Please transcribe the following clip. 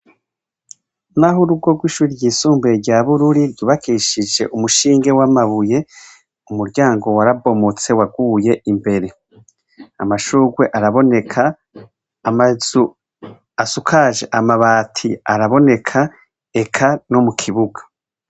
Naho urugo rw'ishure ryisumbuye rya bururi, ryubakishije umushinge w'amabuye. Umuryango warabomotse waguye imbere. Amashurwe araboneka, amazu asukaje amabati araboneka, eka no mu kibuga.